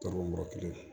Tɔɔrɔ mɔrɔ kelen